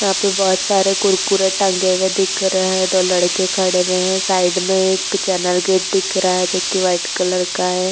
यहाँ पर बहोत (बहुत) सारे कुरकुरे टंगे हुए दिख रहे हैं। दो लड़के खड़े हुए हैं साइड में एक चैनल गेट दिख रहा है जो कि वाइट कलर का है।